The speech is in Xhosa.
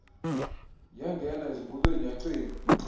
yangena ezingubeni yacinga